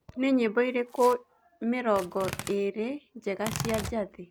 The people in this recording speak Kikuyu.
ni nyĩmboĩrĩkũ mĩrongoĩrĩ njega cĩa jathii